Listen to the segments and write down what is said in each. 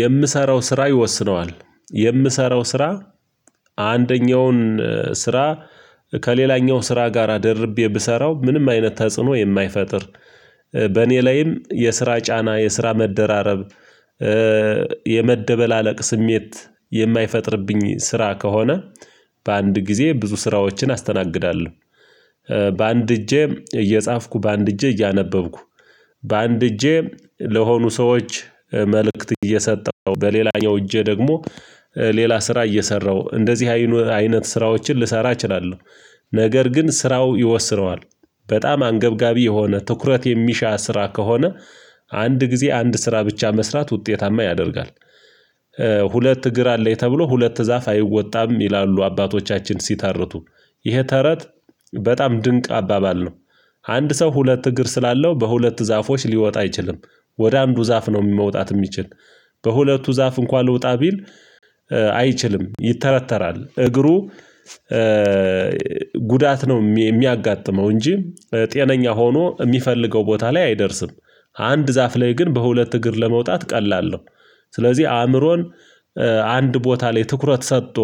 የምሰራው ስራ ይወስነዋል የምሰራው ስራ አንደኛውን ስራ ከሌላኛው ስራ ጋራ ደርቤ ብሰራው ምንም አይነት ተጽዕኖ የማይፈጥር በእኔ ላይም የስራ ጫና የስራ መደራረብ የመደበላለቅ ስሜት የማይፈጥርብኝ ስራ ከሆነ በአንድ ጊዜ ብዙ ስራዎችን አስተናግዳለሁ። በአንድ እጄ እየጻፍኩ በአንድ እጄ እያነበብኩ በአንድ እጄ ለሆኑ ሰዎች መልእክት እየሰጠሁ በሌላ ያው እጄ ደግሞ ሌላ ስራ እየሰራው እንደዚህ አይነት ስራዎችን ልሰራ እችላለሁ። ነገር ግን ስራው ይወስነዋል በጣም አንገብጋቢ የሆነ ትኩረት የሚሻ ስራ ከሆነ አንድ ጊዜ አንድ ስራ ብቻ መስራት ውጤታማ ያደርጋል። ሁለት እግር አለኝ ተብሎ ሁለት ዛፍ አይወጣም ይላሉ አባቶቻችን ሲተርቱ ይሄ ተረት በጣም ድንቅ አባባል ነው። አንድ ሰው ሁለት እግር ስላለው በሁለት ዛፎች ሊወጣ አይችልም ወደ አንዱ ዛፍ ነው መውጣት የሚችል በሁለቱ ዛፍ እንኳን ልውጣ ቢል አይችልም ይተረተራል እግሩ ጉዳት ነው የሚያጋጥመው እንጂ ጤነኛ ሆኖ የሚፈልገው ቦታ ላይ አይደርስም። አንድ ዛፍ ላይ ግን በሁለት እግር ለመውጣት ቀላል ነው። ስለዚህ አእምሮን አንድ ቦታ ላይ ትኩረት ሰጥቶ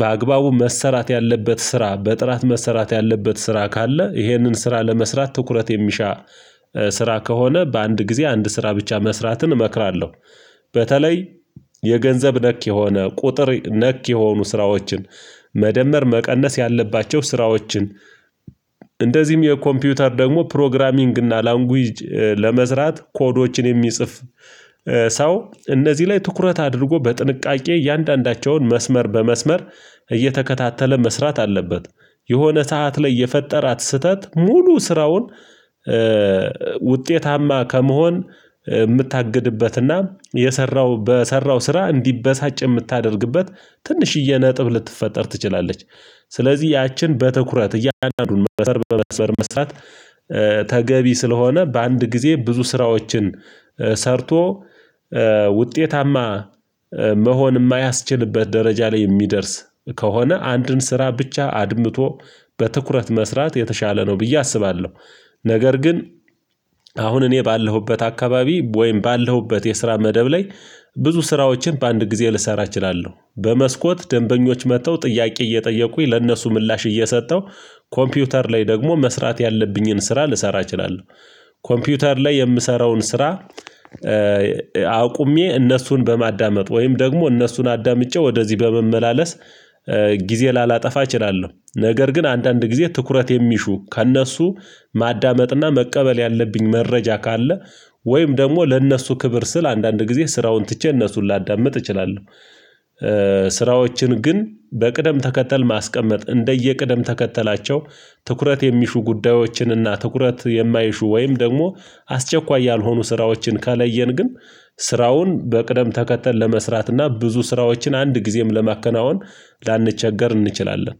በአግባቡ መሰራት ያለበት ስራ በጥራት መሰራት ያለበት ስራ ካለ ይህንን ስራ ለመስራት ትኩረት የሚሻ ስራ ከሆነ በአንድ ጊዜ አንድ ስራ ብቻ መስራትን እመክራለሁ። በተለይ የገንዘብ ነክ የሆነ ቁጥር ነክ የሆኑ ስራዎችን መደመር መቀነስ ያለባቸው ስራዎችን እንደዚህም የኮምፒውተር ደግሞ ፕሮግራሚንግ እና ላንጉጅ ለመስራት ኮዶችን የሚጽፍ ሰው እነዚህ ላይ ትኩረት አድርጎ በጥንቃቄ እያንዳንዳቸውን መስመር በመስመር እየተከታተለ መስራት አለበት። የሆነ ሰዓት ላይ የፈጠራት ስህተት ሙሉ ስራውን ውጤታማ ከመሆን የምታግድበትና የሰራው በሰራው ስራ እንዲበሳጭ የምታደርግበት ትንሽዬ ነጥብ ልትፈጠር ትችላለች። ስለዚህ ያችን በትኩረት እያደረጉን በመስበር በመስበር መስራት ተገቢ ስለሆነ በአንድ ጊዜ ብዙ ስራዎችን ሰርቶ ውጤታማ መሆን የማያስችልበት ደረጃ ላይ የሚደርስ ከሆነ አንድን ስራ ብቻ አድምቶ በትኩረት መስራት የተሻለ ነው ብዬ አስባለሁ። ነገር ግን አሁን እኔ ባለሁበት አካባቢ ወይም ባለሁበት የስራ መደብ ላይ ብዙ ስራዎችን በአንድ ጊዜ ልሰራ እችላለሁ በመስኮት ደንበኞች መጥተው ጥያቄ እየጠየቁኝ ለእነሱ ምላሽ እየሰጠው ኮምፒውተር ላይ ደግሞ መስራት ያለብኝን ስራ ልሰራ እችላለሁ። ኮምፒውተር ላይ የምሰራውን ስራ አቁሜ እነሱን በማዳመጥ ወይም ደግሞ እነሱን አዳምጬ ወደዚህ በመመላለስ ጊዜ ላላጠፋ እችላለሁ ነገር ግን አንዳንድ ጊዜ ትኩረት የሚሹ ከእነሱ ማዳመጥና መቀበል ያለብኝ መረጃ ካለ ወይም ደግሞ ለእነሱ ክብር ስል አንዳንድ ጊዜ ስራውን ትቼ እነሱን ላዳምጥ እችላለሁ። ስራዎችን ግን በቅደም ተከተል ማስቀመጥ እንደየ ቅደም ተከተላቸው ትኩረት የሚሹ ጉዳዮችንና ትኩረት የማይሹ ወይም ደግሞ አስቸኳይ ያልሆኑ ስራዎችን ካለየን ግን ስራውን በቅደም ተከተል ለመስራት እና ብዙ ስራዎችን አንድ ጊዜም ለማከናወን ላንቸገር እንችላለን።